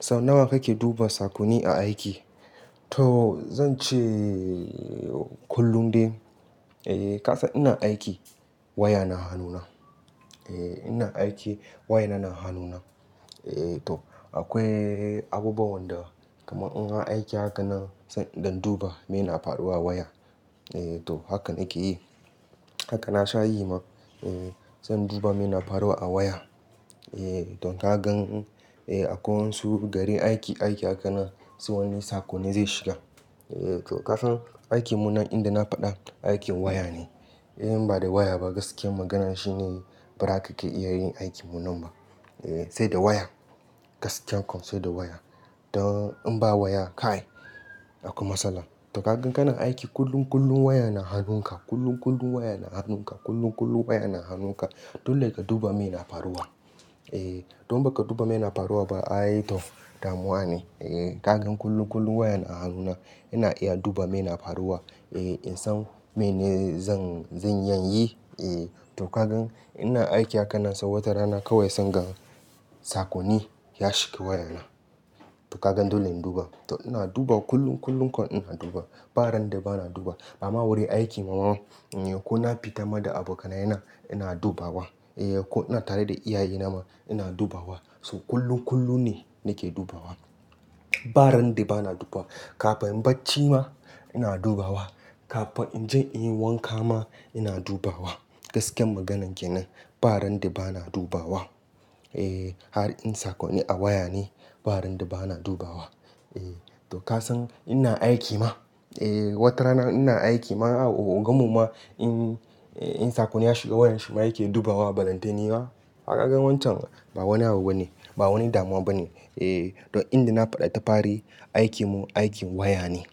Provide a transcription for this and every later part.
Sau nawa kake duba sakoni a aiki? To zan ce kullum dai. E, kasan ina aiki waya na hanuna. E, ina aiki waya na hanuna. E to akwai abubuwan da kamar in aiki haka nan don duba mena faruwa waya. E to hakan nake yi. Haka na sha yi ma. E, zan duba mena faruwa a waya. E to ka gan, e akwai wasu gari aiki, aiki haka nan sai wani sakoni zai shiga. E to kasan aikinmu nan inda na faɗa aikin waya ne. In ba da waya ba gaskiyar magana shine ba za ka iya yin aikinmu nan ba. E, sai da waya. Gaskiya kuwa sai da waya. Don in ba waya ka yi, aku masala. To kagan kana aiki kullum, kullum waya na hanunka, kullum, kullum waya na hanunka, kullum, kullum waya na hanunka. Dole ka duba mena faruwa. E, don ba ka duba mena faruwa ba, ai to damuwa ne. E ka gan kullum, kullum wayan a hanuna ina iya duba mena faruwa. E in san mene zan, zan yi, e to kagan ina aiki haka nan sau wata rana kawai sangan sakoni ya shiga wayana. To kagan dole in duba. To ina duba kullum, kullum kuwa ina duba. Ba ran da ba na duba. Bama wurin aiki mawaman, ko na fita ma da abokanai na ina duba wa. E ko na tare da iyaye na ma ina duba wa. So kullum, kullum ne nake duba wa. Ba ran da ba na duba. Ka fa in baci ma ina duba wa. Ka fa in je in yi wanka ma ina duba wa. Gaskiyar maganan ke nan. Ba ran da ba na duba wa. E har in sakoni a waya ne, ba ran da ba na duba wa. E to kasan ina aiki ma. E wata rana ina aiki ma a ogan mu ma in, in sakoni ya shiga wayar shi ma yake duba wa ɓalantini ma. Haka ka gan wancan ba wani abu bane, ba wani damuwa bane. E to inda na faɗi tafare aikinmu aikin waya ne.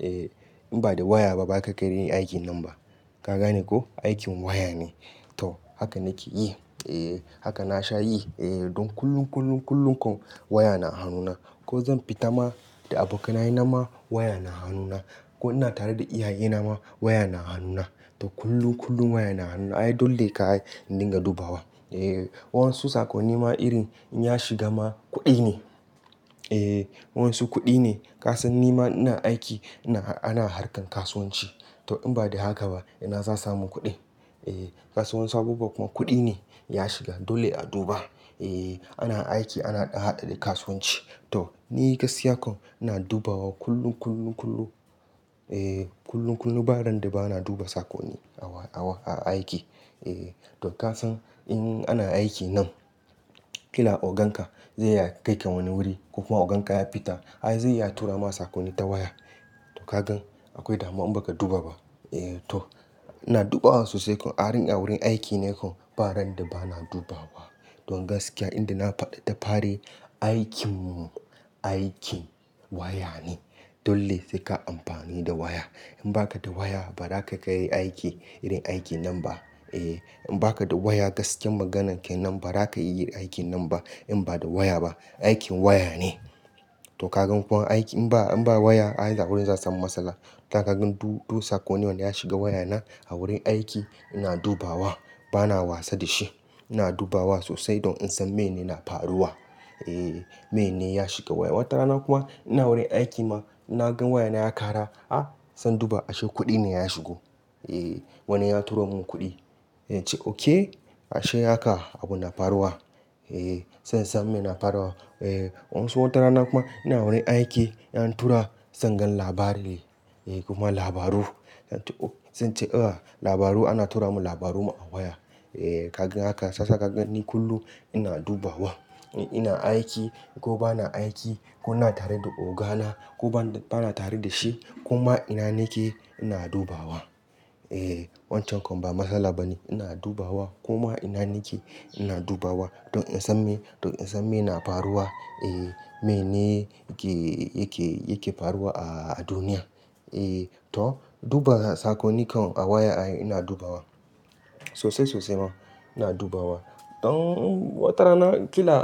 E in ba da waya ba ba ka iya yin aikin nan ba. Ka gane ko? Aikin waya ne. To haka nake yi. E haka na sha yi. E don kullum, kullum, kullum kuwa waya na hanuna. Ko zan fita ma da abokanai na ma waya na hanuna. Ko ina tare da iyaye na ma waya na hanuna. To kullum, kullum waya na hanuna. Ai dole ka yi don ka duba wa. E wasu sakoni ma irin ya shiga ma kuɗi ne. E wasu kuɗi ne. Kasan ni ma ina aiki ina, ana haƙan kasuwanci. To in ba da haka ba ina za samu kuɗi? E wasu abubuwa kuma kuɗi ne ya shiga. Dole a duba. E ana aiki ana haɗaɗe kasuwanci. To ni gaskiya kuwa ina duba wa kullum, kullum, kullum. E kullum, kullum ba ran da ba na duba sakoni a wa, a wa, a aiki. E to kasan in ana aiki nan, kila oganka zai ya kai ka wani wuri ko kuma oganka ya fita. Ai zai ya tura ma sakoni ta waya. To kagan akwai damuwa in ba ka duba ba. E to ina duba wasu sai kam har in a wurin aiki ne kun, ba ran da ba na duba wa. Don gaskiya inda na faɗi tafare aikinmu aikin waya ne. Dole sai ka amfani da waya. In ba ka da waya ba za ka iya yin aiki, irin aikin nan ba. E in ba ka da waya gaskiyar maganan ke nan ba za ka iya yin aikin nan ba in ba da waya ba. Aikin waya ne. To kagan ko aiki in ba, in ba waya ai a wurin za samu matsala. To kagan duk, duk sakoni wanda ya shiga waya na a wurin aiki ina duba wa. Ba na wasa da shi. Ina duba wa sosai don in san mene na faruwa. E mene ya shiga waya. Wata rana kuma ina wurin aiki ma ina gan waya na ya ƙara, a! San duba ashe kuɗi ne ya shigo. E wani ya turo mun kuɗi. Sai ince oke. Ashe haka abu na faruwa. E zan san me na faruwa. E wasu wata rana kuma ina wurin aiki an tura zan gan labari ne. E kuma labaru. Zan ce a labaru ana tura mun labaru ma a waya. E kagan haka sasa ka gani kullum ina duba wa. Ina aiki ko ba na aiki ko na tare da ogana ko ba, ba na tare da shi. Kuma ina nake ina duba wa. E wancan kam ba matsala ba ne. Ina duba wa kuma ina nake ina duba wa. Don in san me, don in san me na faruwa. E mene yake, yake, yake faruwa a, a duniya. E to duba sakoni kan a waya ai ina duba wa. Sosai, sosai ma ina duba wa. Don wata rana kila,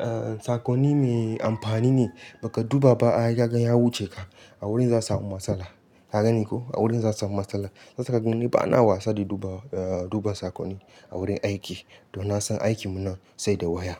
ah sakoni me amfani ne ba ka duba ba ai ya gan ya wuce ka. A wurin za samu matsala. Ka gani ko? A wurin za samu matsala. Shiyasa ka gani ba na wasa da duba, duba sakoni a wurin aiki. Don na san aikinmu nan sai da waya.